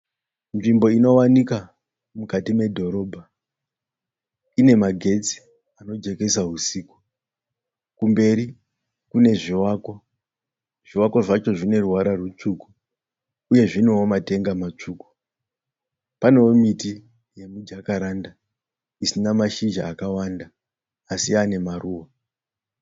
Nzvimbo inowanika mukati medhorobha ine magetsi anojekesa husiku. Kumberi kune zvivakwa zvivakwa zvacho zvine ruvara rutsvuku uye zviinewo matenga matsvuku . Panewo miti yemujakaranda isina mashizha akawanda así yaane maruva.